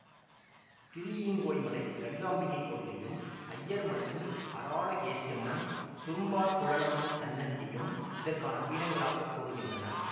திருஈங்கோய்மலை லலிதாம்பிகை கோவிலையும் ஐயர்மலையின் அராளகேசியம்மன்சுரும்பார்க்குழலம்மை சன்னதியையும் இதற்கான பீடங்களாகக் கூறுகின்றனர்